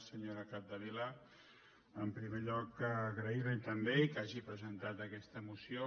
senyora capdevila en primer lloc agrairli també que hagi presentat aquesta moció